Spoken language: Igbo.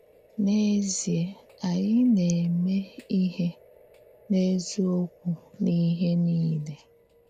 N’èzíè, ányị “na-émè íhè n’èzíòkwù n’íhè nìlè.”